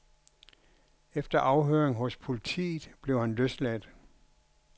Efter afhøring hos politiet blev han løsladt.